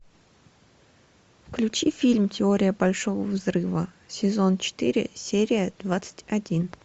включи фильм теория большого взрыва сезон четыре серия двадцать один